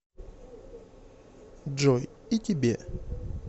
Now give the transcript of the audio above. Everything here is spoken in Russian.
джой и тебе